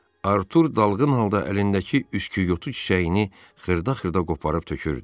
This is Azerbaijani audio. Artur dalğın halda əlindəki üsküyotu çiçəyini xırda-xırda qoparıb tökürdü.